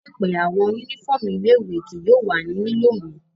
Laipẹ, awọn unifọmú ile-iwe kii yóò wa ni lilo mo